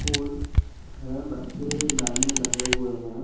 School है बच्चे line में लगे हुए हैं।